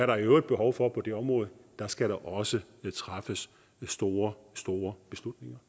der i øvrigt behov for på det område der skal der også træffes store store beslutninger